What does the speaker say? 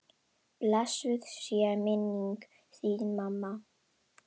Blessuð sé minning þín mamma.